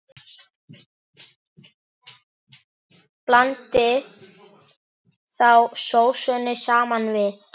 Blandið þá sósunni saman við.